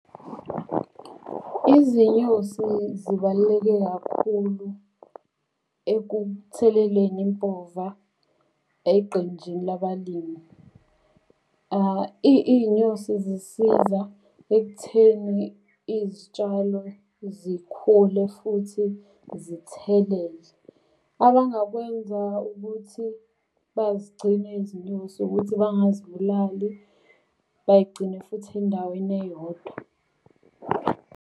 Izinyosi zibaluleke kakhulu ekutheleleni impova eqenjini labalimi. Iy'nyosi zisiza ekutheni izitshalo zikhule futhi zithelele. Abangakwenza ukuthi bazigcine izinyosi ukuthi bangazibulali, bayigcine futhi endaweni eyodwa.